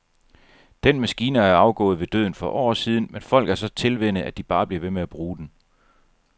Den maskine er jo afgået ved døden for år siden, men folk er så tilvænnet, at de bare bliver ved med at bruge den.